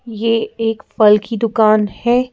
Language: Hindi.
ये एक फल की दुकान है।